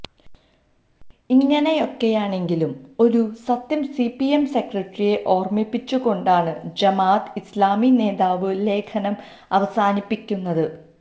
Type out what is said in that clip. ഇങ്ങനെയൊക്കെയാണെങ്കിലും ഒരു സത്യം C P M സെക്രട്ടറിയെ ഓര്മിപ്പിച്ചുകൊണ്ടാണ് ജമാഅത്തെ ഇസ്ലാമി നേതാവ് ലേഖനം അവസാനിപ്പിക്കുന്നത്